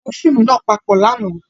A wo fiimu náa papọ làná